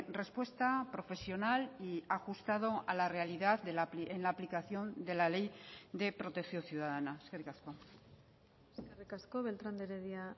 respuesta profesional y ajustado a la realidad en la aplicación de la ley de protección ciudadana eskerrik asko eskerrik asko beltrán de heredia